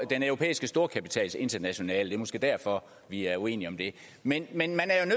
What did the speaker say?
den europæiske storkapitals internationale det er måske derfor at vi er uenige om det men man